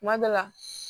Kuma dɔ la